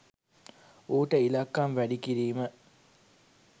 ඌට ඉලක්කම් වැඩි කිරීම